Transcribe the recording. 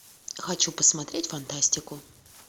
хочу посмотреть фантастику